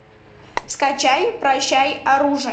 скачай прощай оружие